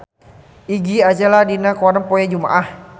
Iggy Azalea aya dina koran poe Jumaah